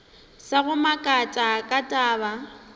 sa go makatša ka taba